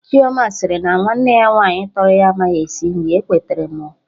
Chioma sịrị na nwanne ya nwaanyị tọrọ ya amaghị esi nri, ekweterọ m oo